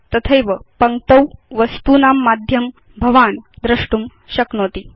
तथैव पङ्क्तौ वस्तूनां माध्यं भवान् द्रष्टुं शक्नोति